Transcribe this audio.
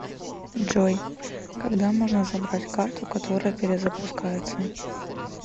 джой когда можно забрать карту которая перезапускается